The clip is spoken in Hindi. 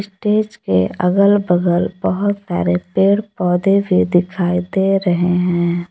डेस्क के अगल बगल बहुत सारे पेड़ पौधे भी दिखाई दे रहे है।